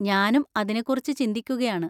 ഞാനും അതിനെക്കുറിച്ച് ചിന്തിക്കുകയാണ്.